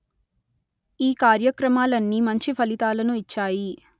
ఈ కార్యక్రమాలన్నీ మంచి ఫలితాలను ఇచ్చాయి